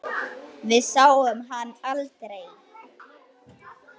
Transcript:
Við sáum hann aldrei.